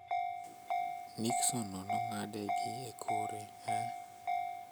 Nixon no ng'ade gi ekore: Ee.